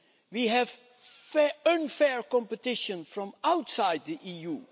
We have unfair competition from outside the EU.